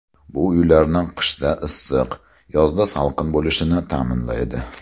Bu uylarni qishda issiq, yozda salqin bo‘lishini ta’minlaydi.